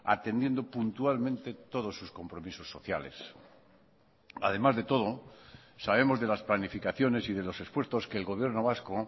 atendiendo puntualmente todos sus compromisos sociales además de todo sabemos de las planificaciones y de los esfuerzos que el gobierno vasco